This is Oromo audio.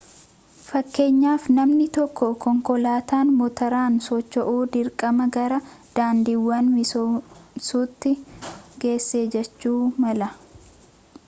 fakkeenyaaf namni tokko konkolaataan motoraan socho'u dirqama gara daandiiwwan misoomsuutti geessa jechuu mala